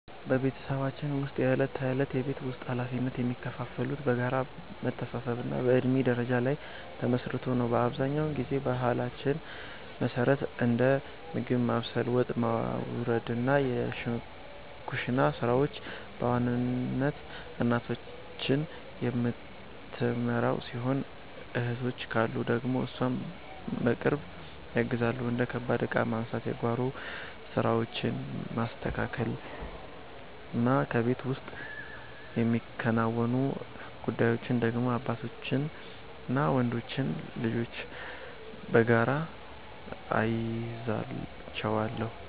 በቤተሰባችን ውስጥ የዕለት ተዕለት የቤት ውስጥ ኃላፊነቶች የሚከፋፈሉት በጋራ መተሳሰብና በእድሜ ደረጃ ላይ ተመስርቶ ነው። አብዛኛውን ጊዜ በባህላችን መሠረት እንደ ምግብ ማብሰል፣ ወጥ ማውረድና የኩሽና ሥራዎችን በዋናነት እናታችን የምትመራው ሲሆን፣ እህቶች ካሉ ደግሞ እሷን በቅርብ ያግዛሉ። እንደ ከባድ ዕቃ ማንሳት፣ የጓሮ ሥራዎችን ማስተካከልና ከቤት ውጭ የሚከናወኑ ጉዳዮችን ደግሞ አባታችንና ወንዶች ልጆች በጋራ እንይዛቸዋለን።